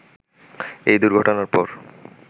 এই দুর্ঘটনার পর